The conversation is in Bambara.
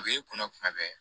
A b'i kunna kuma bɛɛ